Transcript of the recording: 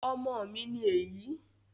ọmọ mi ní èyí